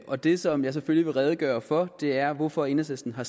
og det som jeg selvfølgelig vil redegøre for er hvorfor enhedslisten har